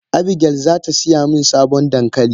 Abigail zatasiyamin sabon dankali.